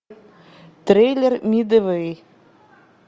трейлер мидуэй